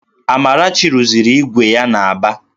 Amarachi rụziri ígwè ya n'Aba